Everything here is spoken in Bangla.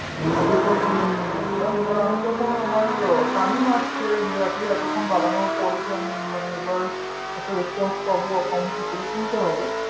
papers গুলো নিয়ে গেছিলাম এবার আমি যখন আমার time সে exactly এতক্ষণ দাঁড়ানোর পরে যে আমি এবার একটা response পাবো account কি করে খুলতে হবে